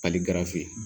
Ali garisɛ